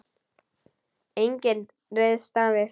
Enginn ryðst á mig.